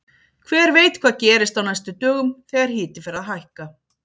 Hver veit hvað gerist á næstu dögum þegar hiti fer að hækka!